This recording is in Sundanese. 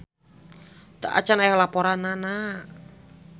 Teu acan aya laporanana.